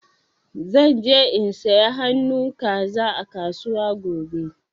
Zan je in siya han'nu kaza a kasuwa gobe.